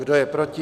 Kdo je proti?